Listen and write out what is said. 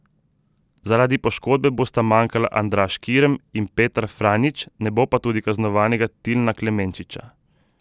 Zaradi poškodbe bosta manjkala Andraž Kirm in Petar Franjić, ne bo tudi kaznovanega Tilna Klemenčiča.